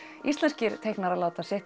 íslenskir teiknarar láta